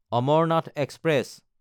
Amarnath express